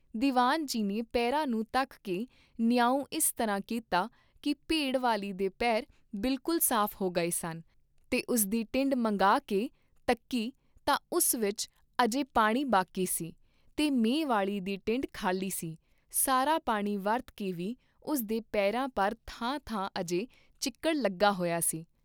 ਦੀਵਾਨ ਜੀ ਨੇ ਪੇਰਾਂ ਨੂੰ ਤੱਕ ਕੇ ਨਿਆਉਂ ਇਸ ਤਰ੍ਹਾਂ ਕੀਤਾ ਕੀ ਭੇਡ ਵਾਲੀ ਦੇ ਪੇਰ ਬਿਲਕੁਲ ਸਾਫ ਹੋ ਗਏ ਸਨ ਤੇ ਉਸਦੀ ਟਿੰਡ ਮੰਗਾ ਕੇ ਤੱਕੀ ਤਾਂ ਉਸ ਵਿਚ ਅਜੇ ਪਾਣੀ ਬਾਕੀ ਸੀ, ਤੇ ਮੈਂਹ ਵਾਲੀ ਦੀ ਟਿੰਡ ਖਾਲੀ ਸੀ, ਸਾਰਾ ਪਾਣੀ ਵਰਤ ਕੇ ਵੀ ਉਸ ਦੇ ਪੇਰਾਂ ਪਰ ਥਾਂ ਥਾਂ ਅਜੇ ਚਿੱਕੜ ਲੱਗਾ ਹੋਇਆ ਸੀ।